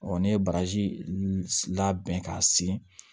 ne ye baraji labɛn k'a siri